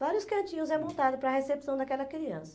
Vários cantinhos é montado para a recepção daquela criança.